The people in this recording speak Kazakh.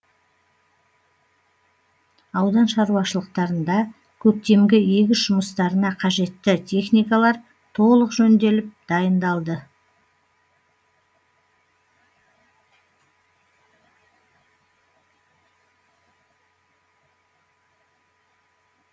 аудан шаруашылықтарында көктемгі егіс жұмыстарына қажетті техникалар толық жөнделіп дайындалды